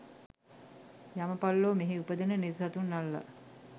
යමපල්ලෝ මෙහි උපදින නිරිසතුන් අල්ලා